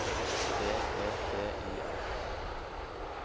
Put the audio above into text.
B E T Y R